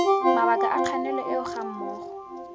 mabaka a kganelo eo gammogo